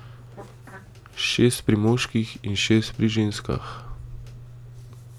Šest pri moških in šest pri ženskah.